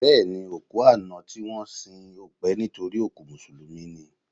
Bẹ́ẹ̀ni, òkú àná tí wọ́n sìn ò pẹ́ nítorí òkú Mùsùlùmí ni